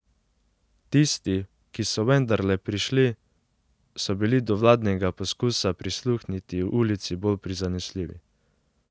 Tisti, ki so vendarle prišli, so bili do vladnega poskusa prisluhniti ulici bolj prizanesljivi.